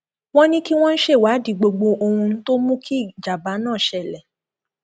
wọn ní kí wọn ṣèwádìí gbogbo ohun tó mú kí ìjàmbá náà ṣẹlẹ